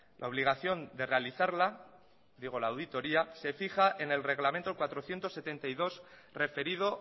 la obligación de realizarla digo la auditoria se fija en el reglamento cuatrocientos setenta y dos referido